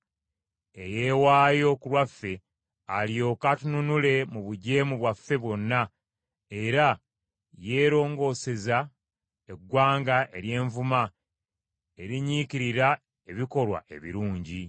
eyeewaayo ku lwaffe, alyoke atununule mu bujeemu bwaffe bwonna, era yeerongooseza eggwanga ery’envuma, erinyiikirira ebikolwa ebirungi.